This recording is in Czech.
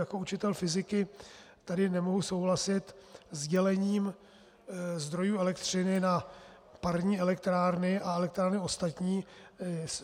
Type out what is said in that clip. Jako učitel fyziky tady nemohu souhlasit s dělením zdrojů elektřiny na parní elektrárny a elektrárny ostatní